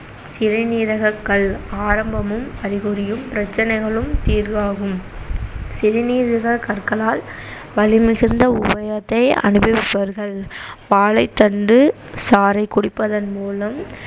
சிறுநீரகக்கல் ஆரம்பமும், அறிகுறியும், பிரச்சனைகளும் தீர்வாகும் சிறுநீரகக்கற்களால் வலிமிகுந்த அனுபவிப்பார்கள் வாழைத்தண்டு சாறைக்குடிப்பதன் மூலம்